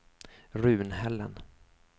Runhällen